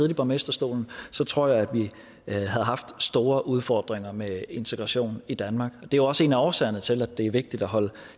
i borgmesterstolen tror jeg at vi havde haft store udfordringer med integration i danmark det er jo også en af årsagerne til at det er vigtigt at holde